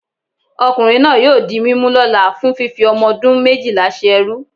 okunrin naa yóò dí mimú lola fún fífí omodún mejíla sé ẹrú